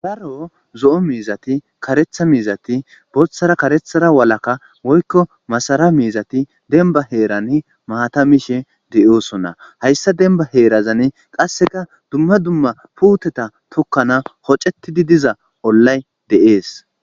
Daro zo'o miizatti kareththa miizatti boththara kareththara walakka woykko masara miizatti dembba heeranni maata miishshe de'ossona. Hayssa dembba heerazanni qasekka dumma dumma puutata tokkana hoccettidi diiza ollay de'es.